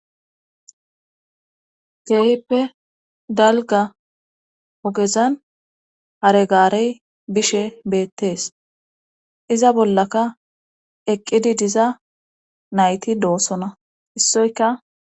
Keehippe dalga ogezan hare gaarey bishe beettees iza bollaka eqqidi diza nayti doossona issoyka